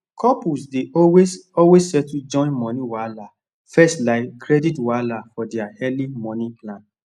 couples dey always always settle joint moni wahala first like credit wahala for dia early moni plan